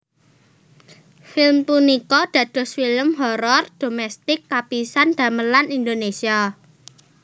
Film punika dados film horor dhomestik kapisan damelan Indonesia